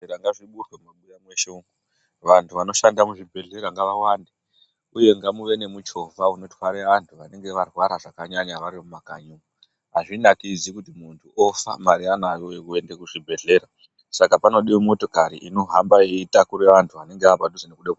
Zvipatara ngazvivhurwe mumabuya mweshe umwo. Vantu vanoshanda muzvibhedhlera ngavawande uye ngamuve nemuchovha unotware antu vanenge varwara zvakanyanya vari mumakanyi. Hazvinakidzi kuti muntu ofa mare anayo yekuende kuzvibhedhlera. Saka panodiwe motokari inohamba yeitakure vantu vanenge vave padhuze ngekude kufa.